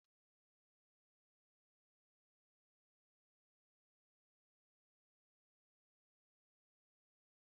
N'abalị ụnyaahụ, ndaa Jane kọrọ ụfọdụ akụkọ mmụọ na ọ tụrụ anyị ụjọ n'ezie